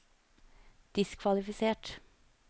diskvalifisert